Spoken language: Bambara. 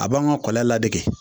A b'an ka kɔlɔn ladegeke